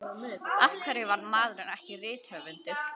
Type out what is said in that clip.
Af hverju varð maðurinn ekki rithöfundur?